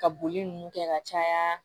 Ka boli nunnu kɛ ka caya